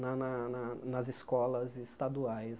na na na nas escolas estaduais.